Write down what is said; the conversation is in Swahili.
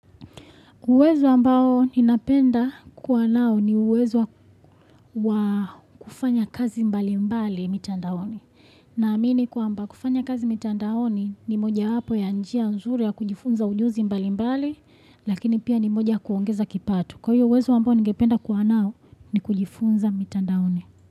Uwezo ambao ninapenda kwa nao ni uwezo wa kufanya kazi mbali mbali mitandaoni. Naamini kwa ambao kufanya kazi mitandaoni ni moja hapo ya njia nzuri ya kujifunza ujuzi mbali mbali, lakini pia ni moja kuongeza kipatu. Kwa hiyo uwezo ambao ninapenda kwa nao ni kujifunza mitandaoni.